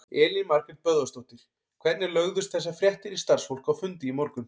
Elín Margrét Böðvarsdóttir: Hvernig lögðust þessar fréttir í starfsfólk á fundi í morgun?